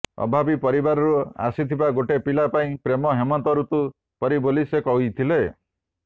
ଅଭାବୀ ପରିବାରରୁ ଆସିଥିବା ଗୋଟେ ପିଲା ପାଇଁ ପ୍ରେମ ହେମନ୍ତ ଋତୁ ପରି ବୋଲି ସେ କହିଥିଲେ